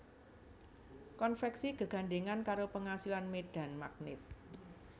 Konvèksi gegandhèngan karo pangasilan médhan magnèt